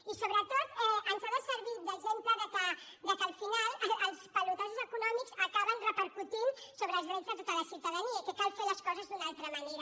i sobretot ens ha de servir d’exemple que al final els pelotazos econòmics acaben repercutint sobre els drets de tota la ciutadania i que cal fer les coses d’una altra manera